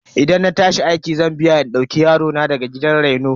Idan na tashi aiki zan biya in dauko yarona daga gidan reno.